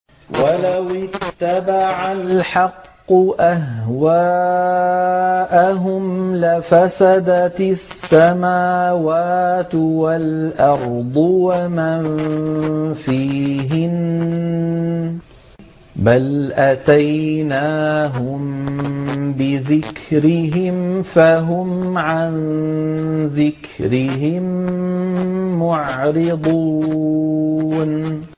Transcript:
وَلَوِ اتَّبَعَ الْحَقُّ أَهْوَاءَهُمْ لَفَسَدَتِ السَّمَاوَاتُ وَالْأَرْضُ وَمَن فِيهِنَّ ۚ بَلْ أَتَيْنَاهُم بِذِكْرِهِمْ فَهُمْ عَن ذِكْرِهِم مُّعْرِضُونَ